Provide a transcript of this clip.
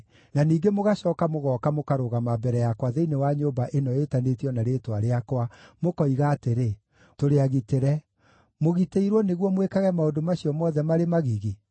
na ningĩ mũgacooka mũgooka mũkarũgama mbere yakwa thĩinĩ wa nyũmba ĩno ĩtanĩtio na Rĩĩtwa rĩakwa, mũkoiga atĩrĩ, “Tũrĩ agitĩre”; mũgitĩirwo nĩguo mwĩkage maũndũ macio mothe marĩ magigi?